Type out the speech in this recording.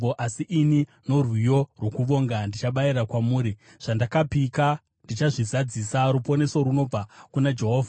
Asi ini, norwiyo rwokuvonga, ndichabayira kwamuri. Zvandakapika ndichazvizadzisa. Ruponeso runobva kuna Jehovha.”